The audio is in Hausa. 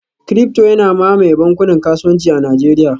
ciryfto yana mamaye bankunan kasuwanci a Najeriya